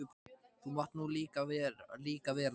Þú mátt nú líka vera það.